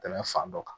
Tɛmɛn fan dɔ kan